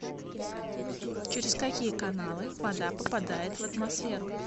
через какие каналы вода попадает в атмосферу